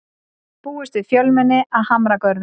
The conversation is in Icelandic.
Búist við fjölmenni að Hamragörðum